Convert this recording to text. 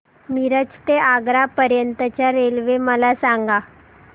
मिरज ते आग्रा पर्यंत च्या रेल्वे मला सांगा